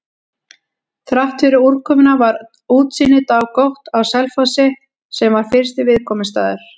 Þráttfyrir úrkomuna var útsýni dágott á Selfossi, sem var fyrsti viðkomustaður.